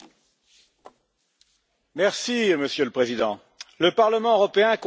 Monsieur le Président, le Parlement européen compte actuellement 751 membres.